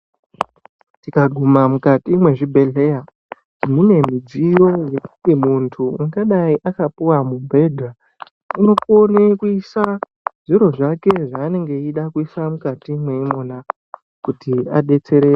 Tikaguma mukati mwezvibhedhlera mune zvidziyo zvekuti munhu ungadayi akapuwa mubhedha unokone kuisa zviro zvake zvaanenge eida kuisa mukati imwona kuti adetsereke.